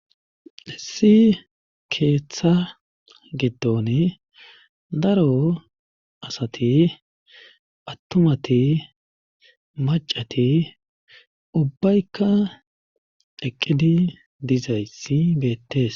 Issi keeththa gidon daro asati attumati macati ubbaykka eqqidi dizayssi beettees